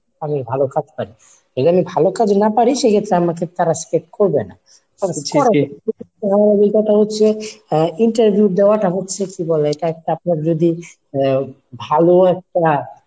আমি ভালো কাজ পারি। এ Line এ ভালো কাজ না পারি সেক্ষেত্রে আমাকে তারা select করবে নাহ। হচ্ছে interview দেওয়াটা হচ্ছে কী বলে এটা একটা প্রভিদ্রী ভালো একটা